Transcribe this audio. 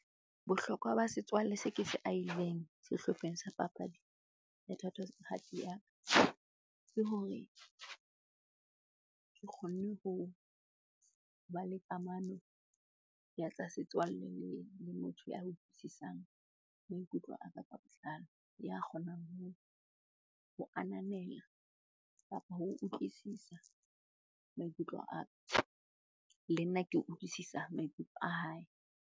Bohlokwa ba setswalle se ke se aileng sehlopheng sa papadi ya ke hore ke kgonne ho ba le kamano ka etsa setswalle le motho a utlwisisang maikutlo a ka ka botlalo. Ya kgonang ho ho ananela kapa ho utlwisisa maikutlo a ka, le nna ke utlwisisa maikutlo a hae.